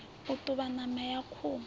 o ṱuvha ṋama ya khuhu